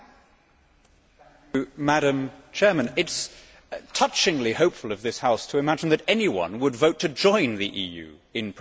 Madam President, it is touchingly hopeful of this House to imagine that anyone would vote to join the EU in present circumstances.